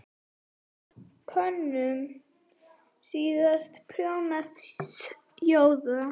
Könum síst allra þjóða!